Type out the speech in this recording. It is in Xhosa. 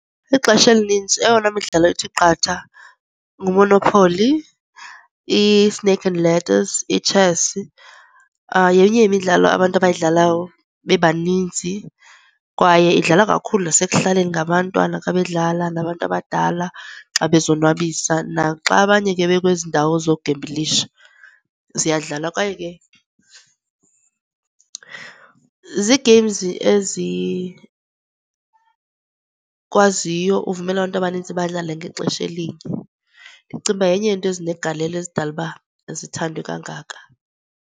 Ixesha elininzi eyona midlalo ithi qatha nguMonopoly, i-snake and ladders, itshesi yenye yemidlalo abantu abayidlala bebaninzi. Kwaye idlalwa kakhulu nasekuhlaleni ngabantwana xa bedlala nabantu abadala xa bezonwabisa, naxa abanye ke bekwezindawo zoku gembhulisha ziyadlalwa. Kwaye ke zii-games ezikwaziyo uvumela abantu abaninzi badlale ngexesha elinye. Ndicinga uba yenye yezinto ezinegalelo ezidala uba zithandwe kangaka.